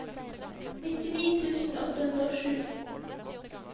nittini tusen åtte hundre og sju